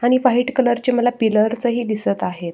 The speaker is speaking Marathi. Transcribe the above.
खाली व्हाइट कलर चे मला पिलर्स ही दिसत आहेत.